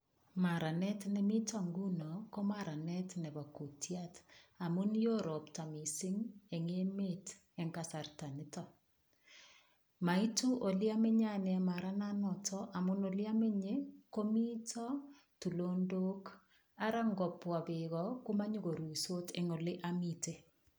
Maranet nemito nguno ko maranet nebo kutiat, amun yo ropta mising engemet eng kasarta nitok. Maitu oleamenye ane marananatak amun amenye ole mito tulondok ara ngopwa beeko komanyakoruitos eng ole amite.